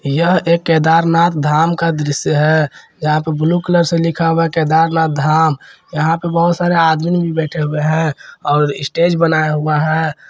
यह एक केदारनाथ धाम का दृश्य है यहां पे ब्लू कलर से लिखा हुआ केदारनाथ धाम यहां पे बहुत सारे आदमी बैठे हुए हैं और स्टेज बनाया हुआ है।